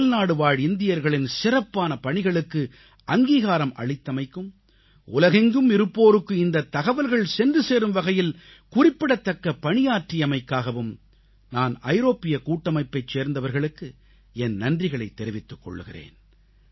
அயல்நாடுவாழ் இந்தியர்களின் சிறப்பான பணிகளுக்கு அங்கீகாரம் அளித்தமைக்கும் உலகெங்கும் இருப்போருக்கு இந்தத் தகவல்கள் சென்று சேரும் வகையில் குறிப்பிடத்தக்க பணியாற்றியமைக்காகவும் நான் ஐரோப்பிய கூட்டமைப்பைச் சேர்ந்தவர்களுக்கு என் நன்றிகளைத் தெரிவித்துக் கொள்கிறேன்